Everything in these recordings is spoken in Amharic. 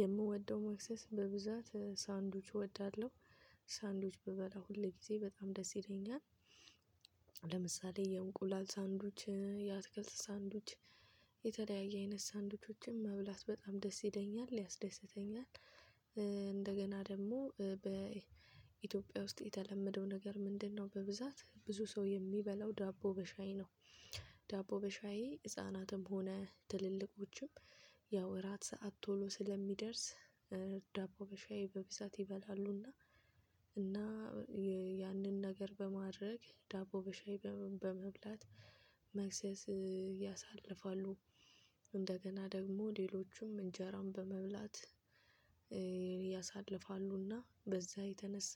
የምወደው ምክሰስ በብዛት ሳንዶች እወዳለሁ ሳንዶች ብበላ ሁሌ ጊዜ በጣም ደስ ይለኛል። ለምሳሌ የእንቁላል ሳንድዎች የአትክልት ሳንድዎች አይነት ሳንድዎቾችም መብላት በጣም ደስ ይለኛል ያስደስተኛል። እንደገና ደግሞ በኢትዮጵያ ውስጥ የተለመደው ነገር ምንድነው? በብዛት ብዙ ሰው የሚበላው ዳቦ በሻይ ነው። ዳቦ በሻይ ህፃናትም ሆነ ትልልቆችም ያው እራት ሰዓት ቶሎ ስለሚደርስ ዳቦ በሻይ በብዛት ይበላሉና። እና ያንን ነገር በማድረግ ዳቦ በሻይ በመብላት መክሰስ ያሳልፋሉ። እንደገና ደግሞ ሌሎቹም እንጀራን በመብላት። ያሳልፋሉና በዛ የተነሳ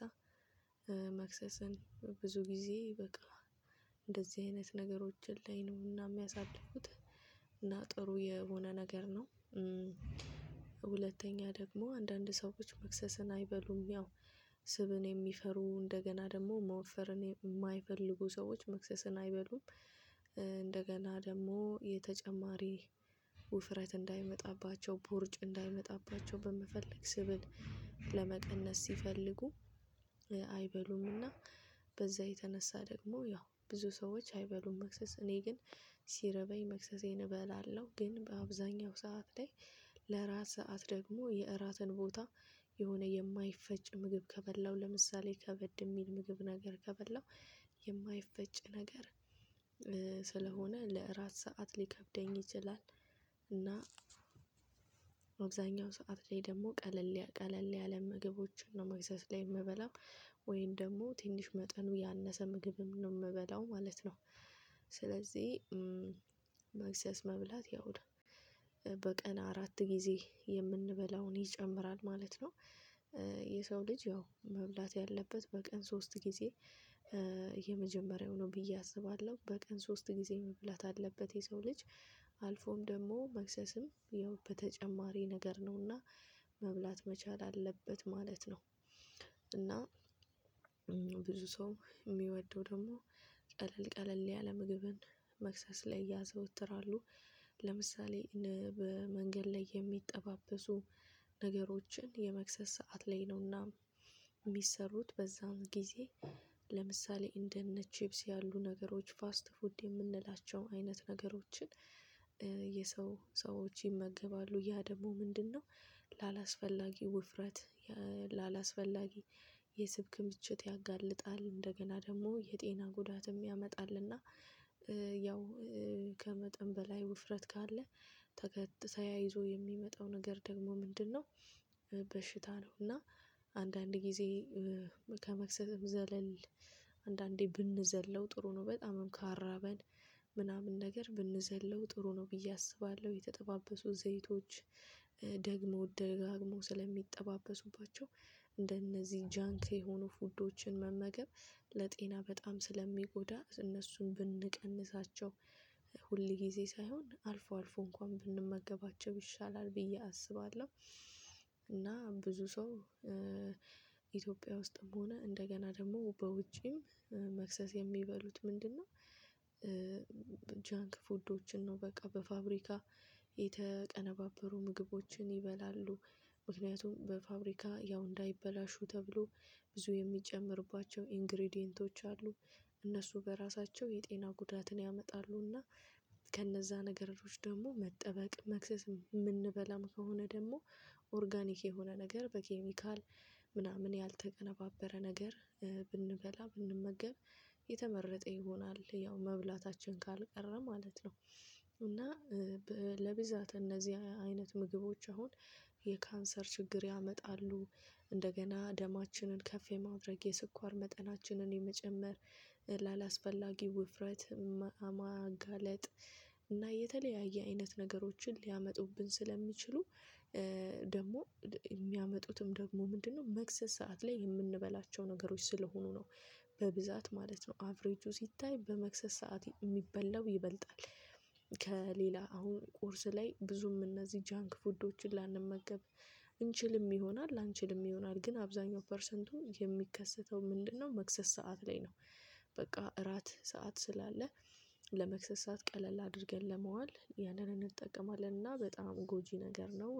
መክሰስን ብዙ ጊዜ በቃ እንደዚህ አይነት ነገሮችን ላይ ነውና የሚያሳልፉት። እና ጥሩ የሆነ ነገር ነው። ሁለተኛ ደግሞ አንዳንድ ሰዎች መክሰስን አይበሉም ያው ስብን የሚፈሩ እንደገና ደግሞ መወፈርን የማይፈልጉ ሰዎች መክሰስን አይበሉም። እንደገና ደግሞ የተጨማሪ ውፍረት እንዳይመጣባቸው ቦርጭ እንዳይመጣባቸው በመፈለግ ስብል ለመቀነስ ሲፈልጉ። አይበሉምና በዛ የተነሳ ደግሞ ያው ብዙ ሰዎች አይበሉም። መክሰስ እኔ ግን ሲርበኝ መክሰሴን እበላለሁ። ግን በአብዛኛው ሰዓት ላይ ለራስ ሰዓት ደግሞ የእራትን ቦታ የሆነ የማይፈጭ ምግብ ከበላሁ ለምሳሌ ከበድ የሚል ምግብ ነገር ከበላው የማይፈጭ ነገር ስለሆነ ለእራት ሰዓት ሊከብደኝ ይችላል። እና በአብዛኛው ሰዓት ላይ ደግሞ ቀለል ያ ቀለል ያለ ምግቦችን ነው መክሳስ ላይ የምበላው ወይም ደግሞ ትንሽ መጠኑ ያነሰ ምግብም ነው የምበላው ማለት ነው። ስለዚህ መብላት ያው በቀን አራት ጊዜ የምንበላውን ይጨምራል ማለት ነው። የሰው ልጅ ያው መብላት ያለበት በቀን ሶስት ጊዜ የመጀመሪያው ነው ብዬ አስባለሁ። በቀን ሶስት ጊዜ መብላት አለበት የሰው ልጅ አልፎም ደግሞ መክሰስም ያው በተጨማሪ ነገር ነውና መብላት መቻል አለበት ማለት ነው። እና ብዙ ሰው የሚወደው ደግሞ ቀለል ቀለል ያለ ምግብን መክሰስ ላይ ያዘወትራሉ። ለምሳሌ በመንገድ ላይ የሚጠባበሱ ነገሮችን የመክሰስ ሰዓት ላይ ነውና የሚሰሩት በዛን ጊዜ ለምሳሌ እንደነ ችፕስ ያሉ ነገሮች ፋስት ፉድ የምንላቸው አይነት ነገሮችን። የሰው ሰዎች ይመገባሉ ያ ደግሞ ምንድነው? ላላስፈላጊ ውፍረት ላላስፈላጊ የስብ ክምችት ያጋልጣል እንደገና ደግሞ የጤና ጉዳትም ያመጣልና። ያው ከመጠን በላይ ውፍረት ካለ። ተያይዞ የሚመጣው ነገር ደግሞ ምንድነው? በሽታ ነው እና አንዳንድ ጊዜ ከመክሰስም ዘለል አንዳንዴ ብንዘለው ጥሩ ነው። በጣምም ካራበን ምናምን ነገር ብንዘለው ጥሩ ነው ብዬ አስባለሁ። የተጠባበሱ ዘይቶች ደግመው ደጋግመው ስለሚጠባበሱባቸው እንደነዚህ ጃንክ የሆኑ ፉዶችን መመገብ ለጤና በጣም ስለሚጎዳ እነሱን ብንቀንሳቸው ሁሌ ጊዜ ሳይሆን አልፎ አልፎ እንኳን ብንመገባቸው ይሻላል ብዬ አስባለሁ። እና ብዙ ሰው ኢትዮጵያ ውስጥም ሆነ እንደገና ደግሞ በውጪም መክሰስ የሚበሉት ምንድነው? ጃንክ ፉዶችን ነው በቃ በፋብሪካ የተቀነባበሩ ምግቦችን ይበላሉ። ምክንያቱም በፋብሪካ ያው እንዳይበላሹ ተብሎ ብዙ የሚጨምርባቸው ኢንግሪዲየንቶች አሉ። እነሱ በራሳቸው የጤና ጉዳትን ያመጣሉና። ከነዛ ነገሮች ደግሞ መጠበቅ መክሰስ የምንበላም ከሆነ ደግሞ ኦርጋኒክ የሆነ ነገር በኬሚካል ምናምን ያልተቀነባበረ ነገር ብንበላ ብንመገብ የተመረጠ ይሆናል ያው መብላታችን ካልቀረ ማለት ነው። እና ለብዛት እነዚህ አይነት ምግቦች አሁን የካንሰር ችግር ያመጣሉ። እንደገና ደማችንን ከፍ የማድረግ የስኳር መጠናችንን የመጨመር ላላስፈላጊ ውፍረት ማጋለጥ እና የተለያየ አይነት ነገሮችን ሊያመጡብን ስለሚችሉ። ደግሞ የሚያመጡትም ደግሞ ምንድነው መክሰስ ሰዓት ላይ የምንበላቸው ነገሮች ስለሆኑ ነው። በብዛት ማለት ነው አቨሬጁ ሲታይ በመክሰስ ሰዓት የሚበላው ይበልጣል። ከሌላ አሁን ቁርስ ላይ ብዙም እነዚህ ጃንክ ፉዶች ላንመገብ እንችልም ይሆናል ላንችልም ይሆናል ግን አብዛኛው ፐርሰንቱ የሚከሰተው ምንድነው መክሰስ ሰዓት ላይ ነው። በቃ እራት ሰዓት ስላለ ለመክሰስ ሰዓት ቀለል አድርገን ለመዋል ያንን እንጠቀማለን እና በጣም ጎጂ ነገር ነው